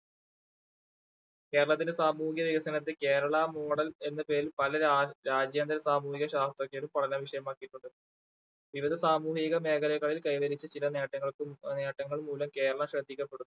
കേരളത്തിന്റെ സാമൂഹ്യ വികസനത്തിൽ കേരള model എന്ന പേരിൽ പല രാ~രാജ്യങ്ങളും സാമൂഹ്യ ശാസ്ത്രജ്ഞരും പഠന വിഷയമാക്കിയിട്ടുണ്ട്. ഇതര സാമൂഹിക മേഖലകളിൽ കൈവരിച്ച ചില നേട്ടങ്ങൾക്കും ആ നേട്ടങ്ങൾ മൂലം കേരളം ശ്രദ്ധിക്കപ്പെടുന്നു